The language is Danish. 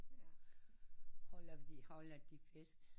Holder vi holder de fest